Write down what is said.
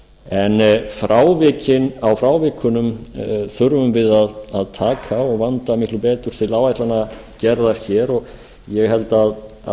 en á frávikunum þurfum við að taka á og vanda miklu betur til áætlanagerðar hér og ég held að